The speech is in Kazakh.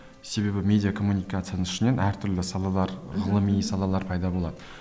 себебі медиакоммуникацияның ішінен әртүрлі салалар ғылыми салалар пайда болады